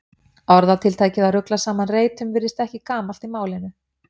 Orðatiltækið að rugla saman reytum virðist ekki gamalt í málinu.